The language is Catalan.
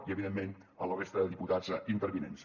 i evidentment a la resta de diputats intervinents